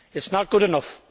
It is not good enough.